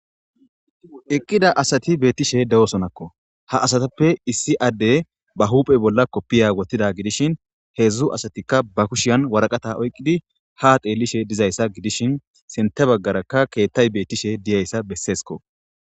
eqqida asati beettishe de7osonakko ha asatappe issi adde ba huphey bolla koppiya gotida gidishin heedzdzu asatikka ba kushiyan waraqata oyqqidi ha xeellishe dizayssa gidishin sinte baggarakka keettay beettishe diyayssa besseesko